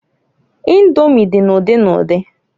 Indomi di n'udi n'udi.